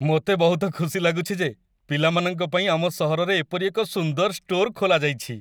ମୋତେ ବହୁତ ଖୁସି ଲାଗୁଛି ଯେ ପିଲାମାନଙ୍କ ପାଇଁ ଆମ ସହରରେ ଏପରି ଏକ ସୁନ୍ଦର ଷ୍ଟୋର୍‌ ଖୋଲାଯାଇଛି।